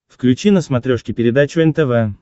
включи на смотрешке передачу нтв